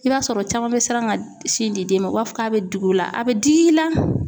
I b'a sɔrɔ caman bɛ siran ka sin di den ma u b'a fɔ k'a bɛ digi u la a bɛ digi i la.